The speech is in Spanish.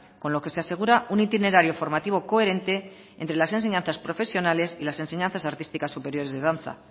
con lo que se asegura un itinerario formativo coherente entre las enseñanzas profesionales y las enseñanzas artísticas superiores de danza